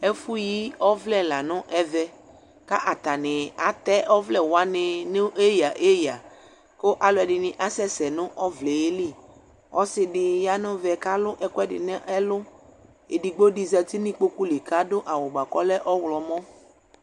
Ɛfʋyi ọvlɛ la nʋ ɛvɛ, ka aanɩ atɛ ɔvlɛwanɩ nʋ eyǝ eyǝ; kʋ alʋɛdïnɩ asɛ sɛ nʋ ɔvlɛɛ li Ɔsɩdɩ ya n'ɛvɛ k'alʋ ɛkʋɛdɩ n'ɛlʋ Edigbodɩ zati n'ikpoku li k'adʋ awʋ bʋa k'ɔlɛ ɔɣlɔmɔ